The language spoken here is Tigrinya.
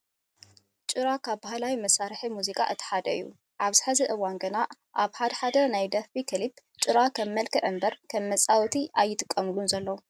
ጭራ ካብ ባህላዊ መሳርሕታት ሙዚቃ እቲ ሓደ እዩ። ኣብዚ ሕዚ እዋን ግና ኣብ ሓደ ሓደ ናይ ደርፊ ክሊፓት ጭራ ከም መልክዕ እምበር ከም መፃወቲ ኣይጥቀምሉን ዘለው።